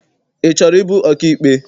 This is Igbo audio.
Ị chọrọ ịbụ ọkaikpe?